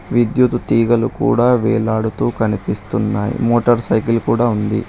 విద్యుత్ తీగలు కూడా వేలాడుతూ కనిపిస్తున్నాయ్ మోటార్ సైకిల్ కూడా ఉంది.